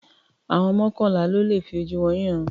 Àwọn mọ́kànlá ló le fi ojú wọn rínran.